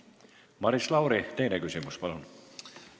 Maris Lauri, teine küsimus, palun!